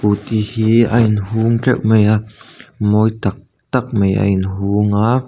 scooty hi a inhung teuh mai a mawi tak tak mai a inhung a.